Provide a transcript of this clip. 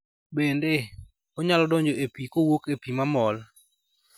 Bende, onyalo donjo e pi kowuok e pi ma mol.